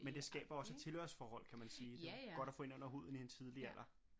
Men det skaber jo også et tilhørsforhold kan man sige det er jo godt at få ind under huden i en tidlig alder